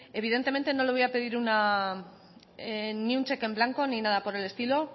evidentemente no le voy a pedir ni un cheque en blanco ni nada por el estilo